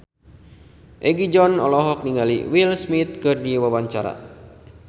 Egi John olohok ningali Will Smith keur diwawancara